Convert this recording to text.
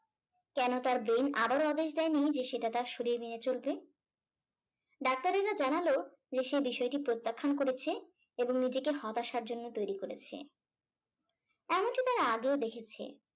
কেন তার brain আবার আদেশ দেয়নি যে সেটা তার শরীর নিয়ে চলবে। ডাক্তারেরা জানালে যে সে বিষয়টি প্রত্যাখ্যান করেছে এবং নিজেকে হতাশার জন্য তৈরি করেছে। এমনকি তারা আগেও দেখেছে